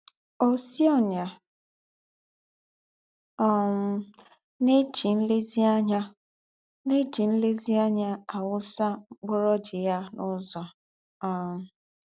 Ōsị́ ọ́nyà um nà-jí nlèzíànyá nà-jí nlèzíànyá àwụ́sà mkpúrù ọ́jị̀ghà n’ứzọ̀. um